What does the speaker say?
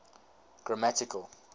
grammatical